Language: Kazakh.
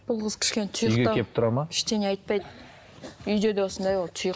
бұл қыз кішкене тұйықтау ештеңе айтпайды үйде де осындай ол тұйық